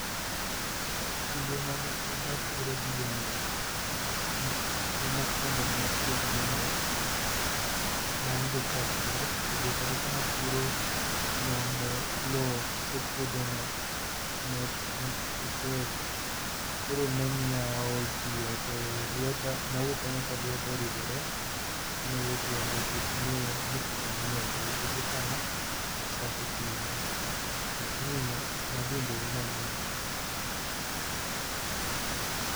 Kinde mane pod apuro gi jembe, chieng mokuongo mane apuro gi jembe nawinjo ka pek to be kata kana puro loo ne ,loo koso puodho no netek koro ne miyo aol piyo to lweta, nawuok kanyo ka lweta oridhore tone wuok remo nikech nepok angiyogo nikech ekana achako time lakini nadhi mbele mangiyo go